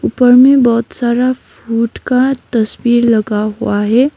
उपर में बहोत सारा फूड का तस्वीर लगा हुआ है।